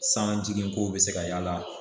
San jigin kow be se ka yaala